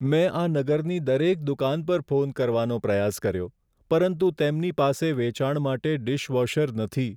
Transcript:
મેં આ નગરની દરેક દુકાન પર ફોન કરવાનો પ્રયાસ કર્યો, પરંતુ તેમની પાસે વેચાણ માટે ડિશવોશર નથી.